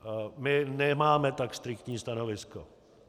My nemáme tak striktní stanovisko.